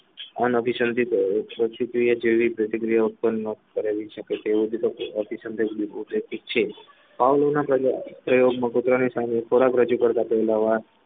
અને અભી શાંતિ શુક્રિયા જેવી પ્રતિક્રિયાઓ પણ કરેલી છે કે તેઓ પાવલોનના પ્રયોગમાં કોતરાની સામે ખોરાક રજૂ કરતા પહેલા